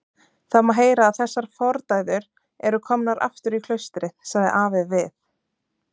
Það má heyra að þessar fordæður eru komnar aftur í klaustrið, sagði afi við